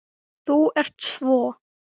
Þú ert svo.